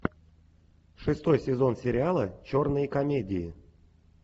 шестой сезон сериала черные комедии